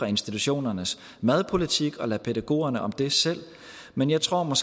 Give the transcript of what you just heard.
institutionernes madpolitik og lade pædagogerne om det selv men jeg tror